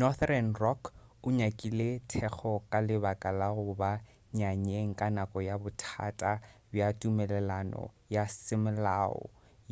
northern rock o nyakile thekgo ka lebaka la go ba nyanyeng ka nako ya bothata bja tumelelano ya semolao